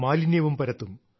മാലിന്യവും പരത്തും